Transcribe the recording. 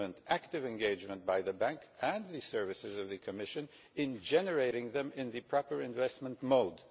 active engagement by the Bank and the services of the Commission in generating them in the proper investment mode.